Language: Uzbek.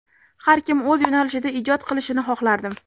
Har kim o‘z yo‘nalishida ijod qilishini xohlardim.